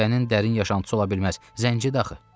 Dayanın dərin yaşantısı ola bilməz, zəncidir axı.